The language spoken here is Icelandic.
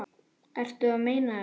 Ertu að meina þetta?